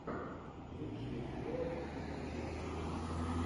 лучший эпизод киборгик